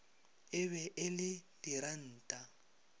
e be e le diranta